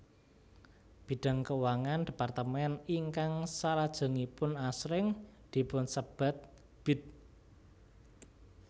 Bidang keuangan departemen ingkang salajengipun asring dipunsebat Bid